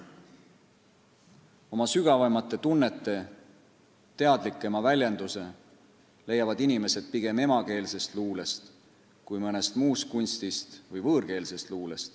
... oma sügavaimate tunnete teadlikema väljenduse leiavad inimesed pigem emakeelsest luulest kui mõnest muust kunstist või võõrkeelsest luulest.